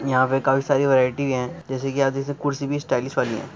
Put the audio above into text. यहा पर काफी सारी वैरायटी है जैसा कि आप देख सकते हैं कुर्सी भी स्टाइलिश वाली है।